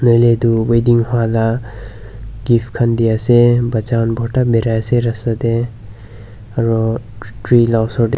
hoilae tu wedding hola gift khan diase bacha khan borta biraiase rasta tae aro tree la osor tae--